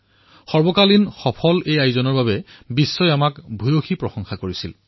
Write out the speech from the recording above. সমগ্ৰ বিশ্বই ইয়াক সফল টুৰ্ণামেণ্ট হিচাপে প্ৰশংসা কৰিছিল